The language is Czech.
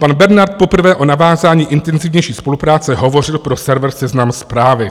Pan Bernard poprvé o navázání intenzivnější spolupráce hovořil pro server Seznam Zprávy.